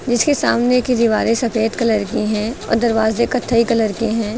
जिसके सामने की दीवारें सफेद कलर की है और दरवाजे कत्थई कलर के हैं।